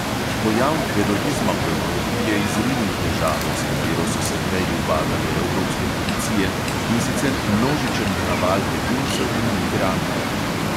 Pojav terorizma v evropi je izrinil težavo, s katero so se prej ubadale evropske policije, in sicer množičen naval beguncev in migrantov.